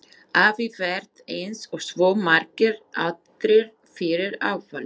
Afi varð eins og svo margir aðrir fyrir áfalli.